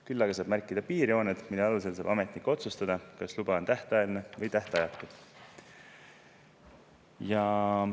Küll aga saab märkida piirjooned, mille alusel saab ametnik otsustada, kas luba on tähtajaline või tähtajatu.